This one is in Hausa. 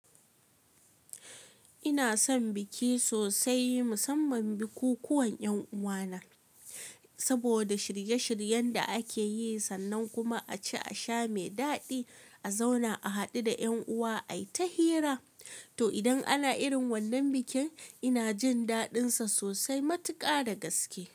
Ina son biki sosai, musamman bikukuwan 'yan uwana saboda shirye-shiryen da ake yi sannan kuma a ci a sha mai daɗi, a zauna a haɗu da 'yan uwa ai ta hira. To, idan ana irin wannan bikin, ina jin daɗinsa sosai matuƙa da gaske.